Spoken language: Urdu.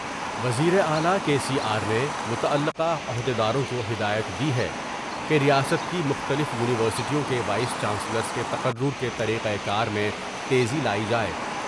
وزیراعلی کے سی آر نے متعلقہ عہد یداروں کو ہدایت دی ہے کہ ریاست کی مختلف یونیورسٹیوں کے وائس چانسلرس کے تقرر کے طریقہ کار میں تیزی لائی جاۓ ۔